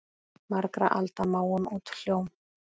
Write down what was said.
Margra alda máum út hljóm?